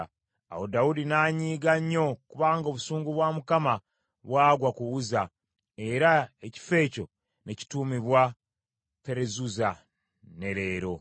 Awo Dawudi n’anyiiga nnyo kubanga obusungu bwa Mukama bwagwa ku Uzza, era ekifo ekyo ne kituumibwa Perezuzza, ne leero.